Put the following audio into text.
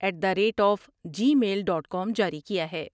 at the rate of Gmail dot com جاری کیا ہے